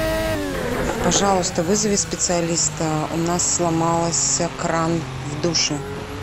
пожалуйста вызови специалиста у нас сломался кран в душе